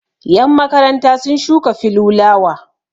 yanmakaranta sun shuka filulawa